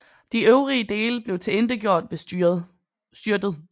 De øvrige dele blev tilintetgjort ved styrtet